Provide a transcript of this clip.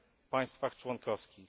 państwach członkowskich.